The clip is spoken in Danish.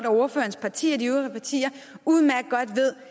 og ordførerens parti og de øvrige partier udmærket godt ved